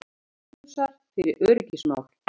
Bónusar fyrir öryggismál